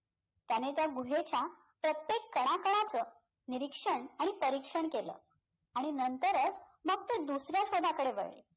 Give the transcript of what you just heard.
त्याने त्या गुहेच्या प्रत्येक कणाकणाचं निरीक्षण आणि परीक्षण केलं आणि नंतरच मग ते दुसऱ्या शोधाकडे वळले.